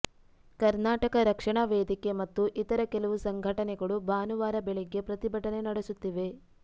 ಕರ್ನಾಟಕ ರಕ್ಷಣಾ ವೇದಿಕೆ ಮತ್ತು ಇತರ ಕೆಲವು ಸಂಘಟನೆಗಳು ಭಾನುವಾರ ಬೆಳಗ್ಗೆ ಪ್ರತಿಭಟನೆ ನಡೆಸುತ್ತಿವೆ